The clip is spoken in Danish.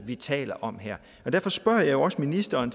vi taler om her derfor spørger jeg også ministeren